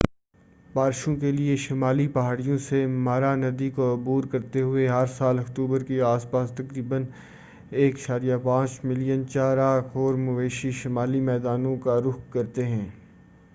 بارشوں کیلئے شمالی پہاڑیوں سے مارا ندی کو عبور کرتے ہوئے ہر سال اکتوبر کے آس پاس تقریبا 1.5 ملین چارا خور مویشی شمالی میدانوں کا رخ کرتے ہیں